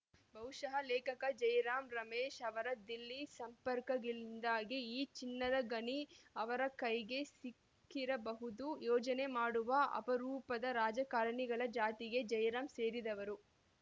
ಬಹುಶಃ ಲೇಖಕ ಜೈರಾಂ ರಮೇಶ್‌ ಅವರ ದಿಲ್ಲಿ ಸಂಪರ್ಕಗಳಿಂದಾಗಿ ಈ ಚಿನ್ನದ ಗಣಿ ಅವರ ಕೈಗೆ ಸಿಕ್ಕಿರಬಹುದು ಯೋಜನೆ ಮಾಡುವ ಅಪರೂಪದ ರಾಜಕಾರಣಿಗಳ ಜಾತಿಗೆ ಜೈರಾಂ ಸೇರಿದವರು